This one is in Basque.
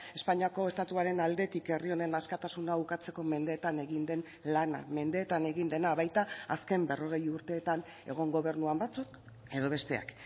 espainiako estatuaren aldetik herri honen askatasuna ukatzeko mendeetan egin den lana mendeetan egin dena baita azken berrogei urteetan egon gobernuan batzuk edo besteak